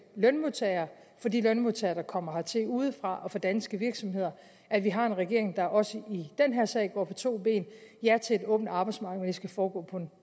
lønmodtagere for de lønmodtagere der kommer hertil udefra og for danske virksomheder at vi har en regering der også i den her sag går på to ben ja til et åbent arbejdsmarked men det skal foregå på en